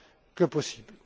que possible.